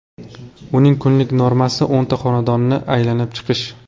Uning kunlik normasi o‘nta xonadonni aylanib chiqish.